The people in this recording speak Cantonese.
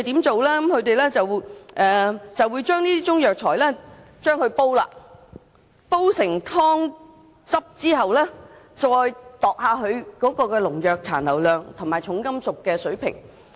政府會將中藥材煎煮成藥湯，然後再檢驗當中的農藥殘留量及重金屬水平。